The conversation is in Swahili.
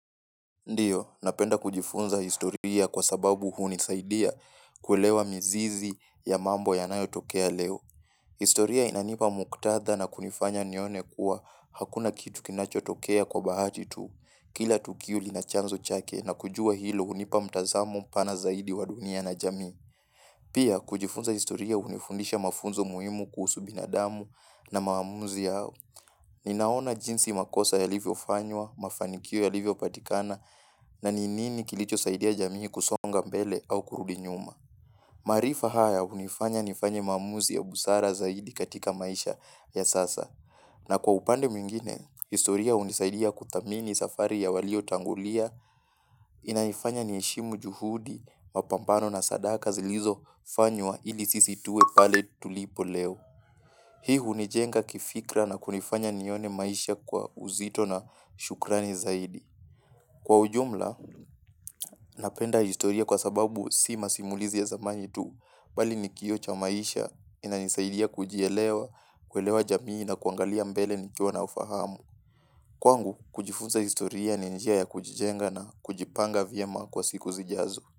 Ndiyo, napenda kujifunza historia kwa sababu huu nisaidia kuelewa mizizi ya mambo ya nayo tokea leo. Historia inanipa muktadha na kunifanya nione kuwa hakuna kitu kinacho tokea kwa bahati tu. Kila tukio linachanzo chake na kujua hilo hunipa mtazamo pana zaidi wa dunia na jamii. Pia, kujifunza historia hunifundisha mafunzo muhimu kuhusu binadamu na maamuzi yao. Ninaona jinsi makosa ya livyo fanywa, mafanikio ya livyo patikana na ninini kilicho saidia jamii kusonga mbele au kurudinyuma. Maarifa haya hunifanya nifanye maamuzi ya busara zaidi katika maisha ya sasa. Na kwa upande mwingine, historia hunisaidia kudhamini safari ya walio tangulia inanifanya niheshimu juhudi mapambano na sadaka zilizo fanywa ili sisi tuwe pale tulipo leo. Hii hunijenga kifikra na kunifanya nione maisha kwa uzito na shukrani zaidi. Kwa ujumla, napenda historia kwa sababu si masimulizi ya zamani tu, bali nikioocha maisha ina nisaidia kujielewa, kuelewa jamii na kuangalia mbele nikiwa naufahamu. Kwangu, kujifunza historia ni njia ya kujijenga na kujipanga vyema kwa siku zijazo.